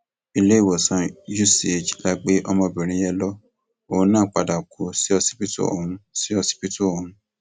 iléèwòsàn uch la gbé ọmọbìnrin yẹn lọ òun náà padà kú síọsibítù ọhún síọsibítù ọhún